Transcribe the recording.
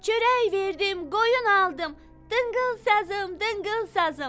Çörək verdim qoyun aldım, dıngıl sazım, dıngıl sazım.